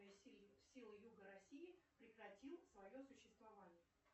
силы юга россии прекратил свое существование